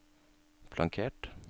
flankert